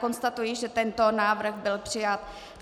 Konstatuji, že tento návrh byl přijat.